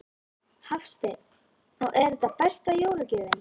Hafsteinn: Og er þetta besta jólagjöfin?